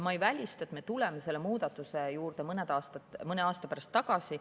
Ma ei välista, et me tuleme selle muudatuse juurde mõne aasta pärast tagasi.